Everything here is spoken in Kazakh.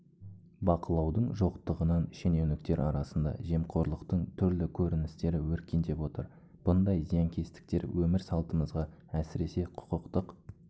бақылаудың жоқтығынан шенеуніктер арасында жемқорлықтың түрлі көріністері өркендеп отыр бұндай зиянкестіктер өмір салтымызға әсіресе құқықтық